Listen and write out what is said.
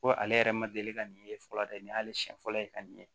Ko ale yɛrɛ ma deli ka nin ye fɔlɔ dɛ nin y'ale siɲɛ fɔlɔ ye ka nin ye